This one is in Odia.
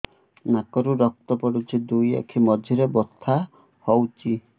ନାକରୁ ରକ୍ତ ପଡୁଛି ଦୁଇ ଆଖି ମଝିରେ ବଥା ହଉଚି